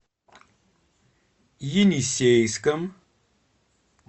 енисейском